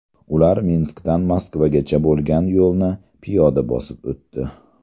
Ular Minskdan Moskvagacha bo‘lgan yo‘lni piyoda bosib o‘tdi.